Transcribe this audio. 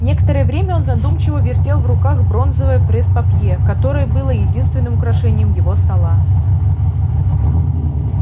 некоторое время он задумчиво вертел в руках бронзовое пресс-папье которое было единственным украшением его стола